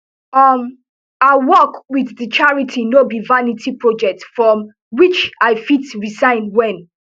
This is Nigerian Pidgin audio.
um her work wit di charity no be vanity project from which i fit resign wen